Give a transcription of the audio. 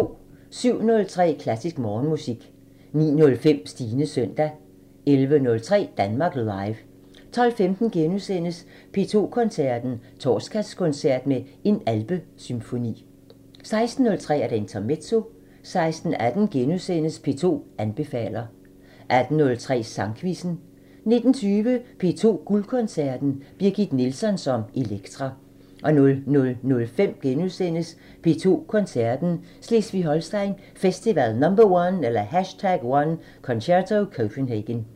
07:03: Klassisk Morgenmusik 09:05: Stines søndag 11:03: Danmark Live 12:15: P2 Koncerten – Torsdagskoncert med En alpesymfoni * 16:03: Intermezzo 16:18: P2 anbefaler * 18:03: Sangquizzen 19:20: P2 Guldkoncerten – Birgit Nilsson som Elektra 00:05: P2 Koncerten – Slesvig-Holsten Festival #1 – Concerto Copenhagen *